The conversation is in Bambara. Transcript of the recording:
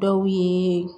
Dɔw yeee